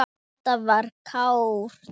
Þetta var klárt.